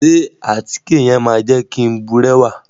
Ṣe àtíke yẹn ma jẹ ki n burẹwa?